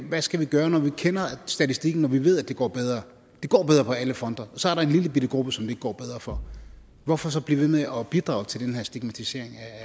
hvad skal vi gøre når vi kender statistikken og når vi ved at det går bedre det går bedre på alle fronter og så er der en lillebitte gruppe som det ikke går bedre for hvorfor så blive ved med at bidrage til den her stigmatisering